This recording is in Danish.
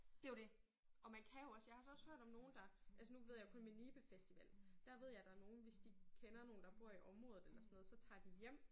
Det jo det. Og man kan jo også jeg har altså også hørt om nogen der altså nu ved jeg kun med Nibe festival der ved jeg der er nogen hvis de kender nogen der bor i området eller sådan noget så tager de hjem